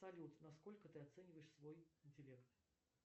салют насколько ты оцениваешь свой интеллект